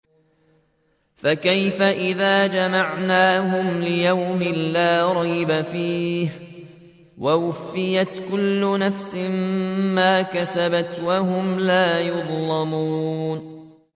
فَكَيْفَ إِذَا جَمَعْنَاهُمْ لِيَوْمٍ لَّا رَيْبَ فِيهِ وَوُفِّيَتْ كُلُّ نَفْسٍ مَّا كَسَبَتْ وَهُمْ لَا يُظْلَمُونَ